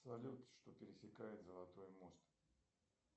салют что пересекает золотой мост